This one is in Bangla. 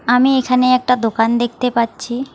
আমি এখানে একটা দোকান দেখতে পাচ্ছি।